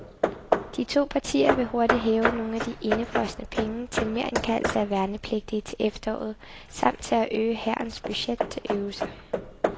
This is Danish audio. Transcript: De to partier vil hurtigt hæve nogle af de indefrosne penge til merindkaldelse af værnepligtige til efteråret samt til at øge hærens budget til øvelser.